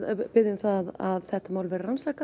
biðja um það að þetta mál verði rannsakað